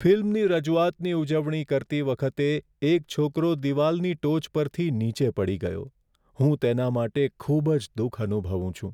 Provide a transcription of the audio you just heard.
ફિલ્મની રજૂઆતની ઉજવણી કરતી વખતે એક છોકરો દીવાલની ટોચ પરથી નીચે પડી ગયો. હું તેના માટે ખૂબ જ દુઃખ અનુભવું છું.